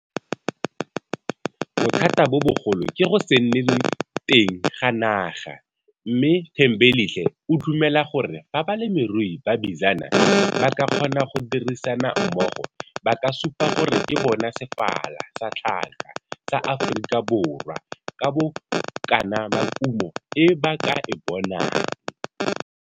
Bothata bo bogolo ke go se nne teng ga naga, mme Thembelihle o dumela gore fa balemirui ba Bizana ba ka kgona go dirisana mmogo ba ka supa gore ke bona sefala sa tlhaka sa Afrikaborwa ka bokana ba kumo e ba ke e bonang.